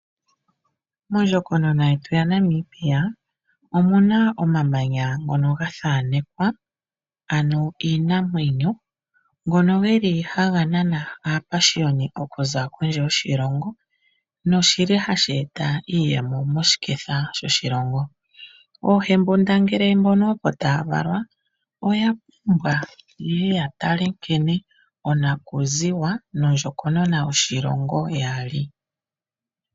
Mondjokonona yetu ya Namibia omu na omamanya ngono ga thaanekwa ano iinamwenyo. Ngono geli haga nana aapashiyoni okuza kondje yoshilongo noshili hashi eta iiyemo moshiketha shoshilongo. Oohembundangele mbono opo taya valwa oya pumbwa ye ye ya tale nkene onakuziwa nondjokonona yoshilongo ya li.